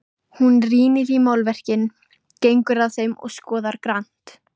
Hún rýnir í málverkin, gengur að þeim og skoðar grannt.